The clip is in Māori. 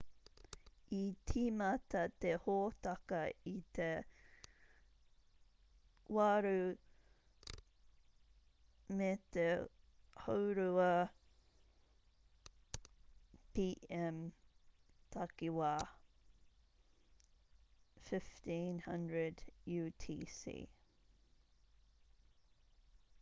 i tīmata te hōtaka i te 8.30 p.m. takiwā 15.00 utc